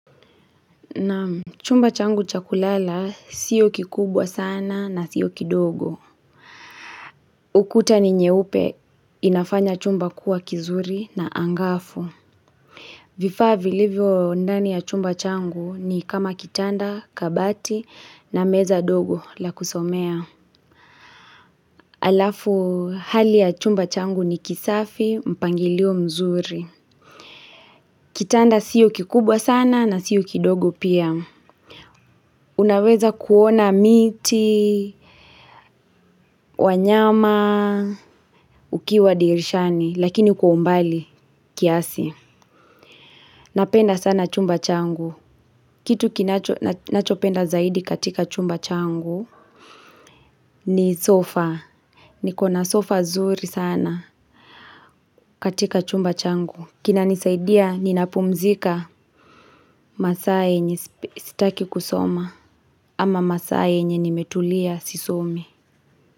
Naam. Chumba changu cha kulala siyo kikubwa sana na siyo kidogo. Ukuta ni nyeupe inafanya chumba kuwa kizuri na angavu. Vifaa vilivyo ndani ya chumba changu ni kama kitanda, kabati na meza ndogo la kusomea. Alafu hali ya chumba changu ni kisafi, mpangilio mzuri. Kitanda siyo kikubwa sana na siyo kidogo pia. Unaweza kuona miti. Wanyama ukiwa dirishani lakini kwa umbali kiasi. Napenda sana chumba changu. Kitu kinacho, nachopenda zaidi katika chumba changu ni sofa. Niko na sofa zuri sana katika chumba changu kinanisaidia ninapumzika. Masaa yenye sitaki kusoma ama masaa yenye nimetulia sisomi.